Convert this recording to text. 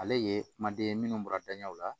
Ale ye kumaden ye minnu bɔra danɲɛw la